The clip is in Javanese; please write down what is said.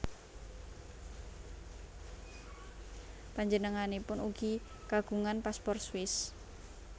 Panjenenganipun ugi kagungan paspor Swiss